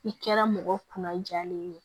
I kɛra mɔgɔ kunna jalen ye